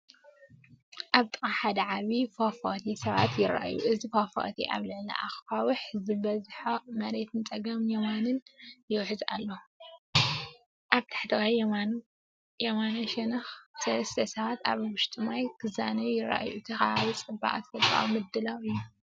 ኣብ ጥቓ ሓደ ዓብይ ፏፏቴ ሰባት ይረኣዩ። እቲ ፏፏቴ ኣብ ልዕሊ ኣኻውሕ ዝበዝሖ መሬት ንጸጋምን የማንን ይውሕዝ ኣሎ። ኣብ ታሕተዋይ የማናይ ሸነኽ ሰለስተ ሰባት ኣብ ውሽጢ ማይ ክዛነዩ ይረኣዩ፤ እቲ ከባቢ ጽቡቕ ተፈጥሮኣዊ ምድላው እዩ።